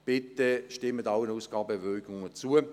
Bitte stimmen Sie allen Ausgabebewilligungen zu.